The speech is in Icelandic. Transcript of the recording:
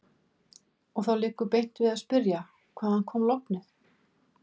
Og þá liggur beint við að spyrja: Hvaðan kom lognið?